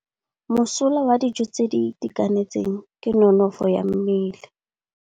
Mosola wa dijô tse di itekanetseng ke nonôfô ya mmele.